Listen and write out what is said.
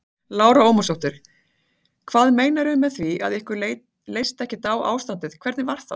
Lára Ómarsdóttir: Hvað meinarðu með því að ykkur leist ekkert á ástandið, hvernig var það?